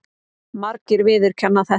Margir viðurkenna þetta.